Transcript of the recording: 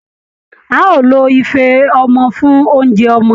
Á ó lo ife ọmọ fún oúnjẹ ọmọ